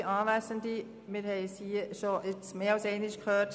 Wir haben es bereits gehört: